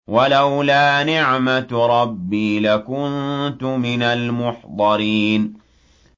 وَلَوْلَا نِعْمَةُ رَبِّي لَكُنتُ مِنَ الْمُحْضَرِينَ